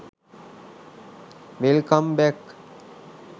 welcome back